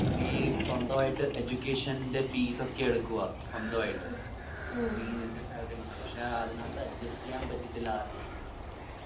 നീ സ്വന്തവായിട്ട് education ന്റെ fees ഒക്കെ എടുക്കുവാ ഉം സ്വന്തവയിട്ട് ഉം നീ നിന്റെ salary കൊണ്ട് പക്ഷെ അതിനാത്ത് adjust ചെയ്യാൻ പറ്റത്തില്ല ആർക്കും.